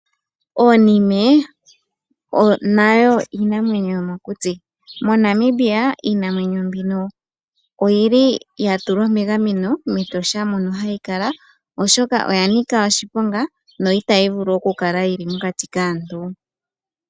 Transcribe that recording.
Oonime nayo iinamwenyo yomokuti. Monamibia iinamwenyo mbino oyili ya tulwa megameno metosha mono hayi kala oshoka oya nika oshiponga na itayi vulu okukala yili mokati kaantu.